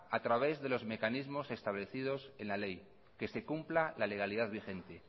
a través de los mecanismos establecidos en le ley que se cumpla la legalidad vigente